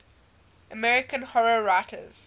american horror writers